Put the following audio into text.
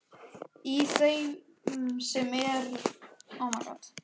Í þeim sem er með bólu á kinninni flissaði hún.